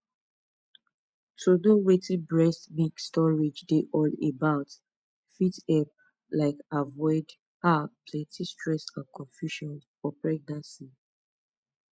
to know wetin breast milk storage dey all about fit help um avoid ah plenty stress and confusion for pregnancy